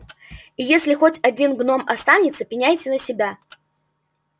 и если хоть один гном останется пеняйте на себя